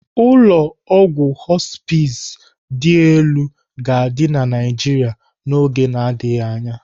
Ụlọ ọgwụ họspịz dị elu ga-adị na Naijiria n'oge na-adịghị anya.